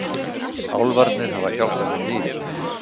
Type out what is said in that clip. Álfarnir hafa hjálpað mér mikið.